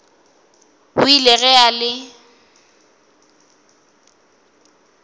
o ile ge a le